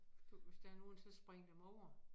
Du hvis der nogle så spring dem over